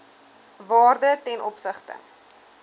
waarde ten opsigte